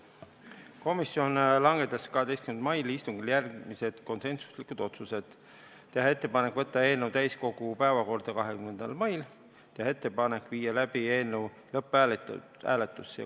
Komisjon langetas 12. mai istungil järgmised konsensuslikud otsused: teha ettepanek võtta eelnõu täiskogu päevakorda 20. maiks ja teha ettepanek viia läbi eelnõu lõpphääletus.